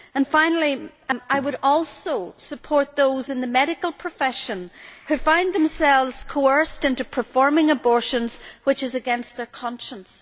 Finally, I would also support those in the medical profession who find themselves coerced into performing abortions, which is against their conscience.